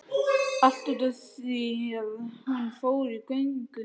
Allt út af því að hún fór í göngu